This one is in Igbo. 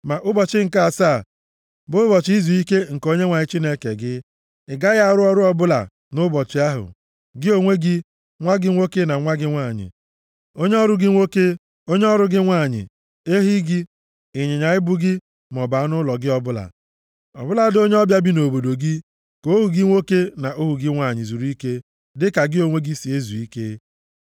ma ụbọchị nke asaa bụ ụbọchị izuike nke Onyenwe anyị Chineke gị. Ị gaghị arụ ọrụ ọbụla nʼụbọchị ahụ, gị onwe gị, nwa gị nwoke na nwa gị nwanyị, onye ọrụ gị nwoke, onye ọrụ gị nwanyị, ehi gị, ịnyịnya ibu gị maọbụ anụ ụlọ gị ọbụla, ọ bụladị onye ọbịa bi nʼobodo gị, ka ohu gị nwoke na ohu gị nwanyị zuru ike dịka gị onwe gị si ezu ike.